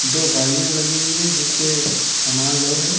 दो गाड़ियां लगी हुई हैंजिस पे सामान लोड है।